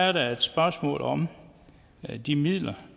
er der et spørgsmål om de midler